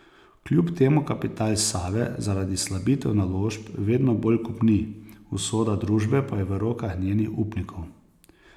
Kljub temu kapital Save zaradi slabitev naložb vedno bolj kopni, usoda družbe pa je v rokah njenih upnikov.